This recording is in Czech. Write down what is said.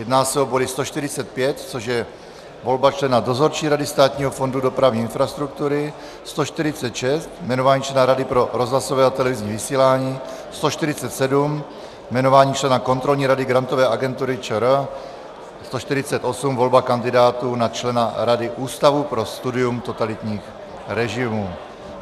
Jedná se o body 145, což je volba člena Dozorčí rady Státního fondu dopravní infrastruktury, 146 - jmenování člena Rady pro rozhlasové a televizní vysílání, 147 - jmenování člena Kontrolní rady Grantové agentury ČR, 148 - volba kandidátů na člena Rady Ústavu pro studium totalitních režimů.